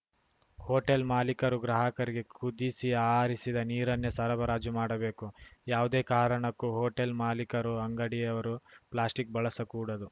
hotel ಮಾಲೀಕರು ಗ್ರಾಹಕರಿಗೆ ಕುದಿಸಿ ಆರಿಸಿದ ನೀರನ್ನೇ ಸರಬರಾಜು ಮಾಡಬೇಕು ಯಾವುದೇ ಕಾರಣಕ್ಕೂ ಹೋಟೆಲ್‌ ಮಾಲೀಕರು ಅಂಗಡಿಯವರು ಪ್ಲಾಸ್ಟಿಕ್‌ ಬಳಸಕೂಡದು